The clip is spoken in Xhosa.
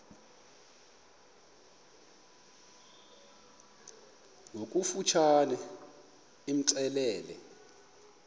ngokofu tshane imxelele